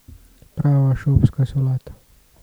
Prava šopska solata.